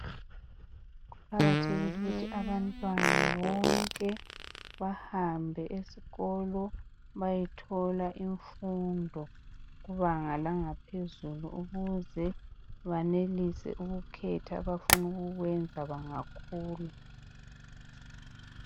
Kuqakathekile ukuthi abantwana bonke bahambe esikolo beyethola imfundo kubanga langa phezulu ukuze banelise ukukhetha abafuna ukukwenza bengakhula.